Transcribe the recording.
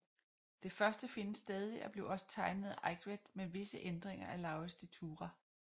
Det første findes stadig og blev også tegnet af Eigtved med visse ændringer af Lauritz de Thurah